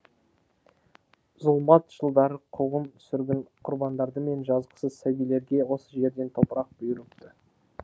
зұлмат жылдары қуғын сүргін құрбандары мен жазықсыз сәбилерге осы жерден топырақ бұйырыпты